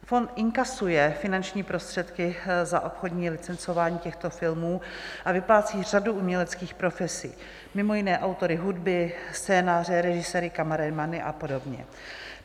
Fond inkasuje finanční prostředky za obchodní licencování těchto filmů a vyplácí řadu uměleckých profesí, mimo jiné autory hudby, scénáře, režiséry, kameramany a podobně.